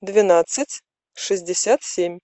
двенадцать шестьдесят семь